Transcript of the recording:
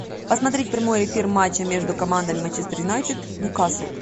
посмотреть прямой эфир матча между командами манчестер юнайтед ньюкасл